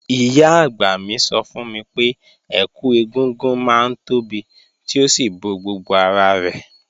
Ìyá-àgbà mi sọ fún mi pé, ẹkù ẹ̀gúngún máa ń tóbi tí ó sì bo gbogbo ara rẹ̀.